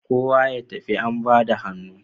Kowa ya tafi an bada hannu